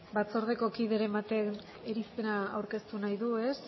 batzordeko kideren batek irizpena aurkeztu nahi du ez